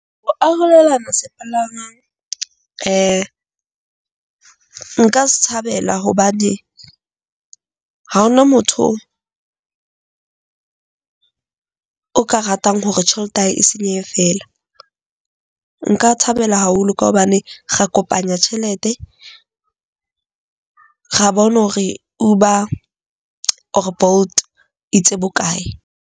O arolelana sepalangwang nka se tshabela hobane. Ha ho na motho o ka ratang hore tjhelete ya hae e senyehe feela. Nka thabela haholo ka hobane ra kopanya tjhelete, ra bona hore Uber or Bolt e itse bokae.